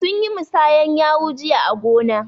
Sun yi musanyar yawu jiya a gona.